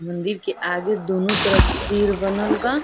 मंदिर के आगे दुनो तरफ सिर बनल बा।